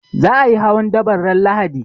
Za a yi hawan daban ran Lahadi